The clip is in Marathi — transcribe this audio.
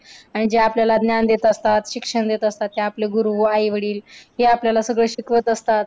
आणि जे आपल्याला ज्ञान असतात शिक्षण देत असतात ते आपले गुरु व आई वडील हे आपल्याला सगळं शिकवत असतात.